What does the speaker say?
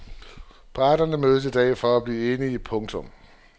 Parterne mødes i dag for at forsøge at blive enige. punktum